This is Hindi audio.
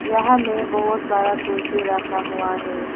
यहां में बहुत सारा कुर्सी रखा हुआ है।